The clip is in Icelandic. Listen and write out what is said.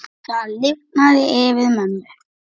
Það lifnaði yfir mömmu.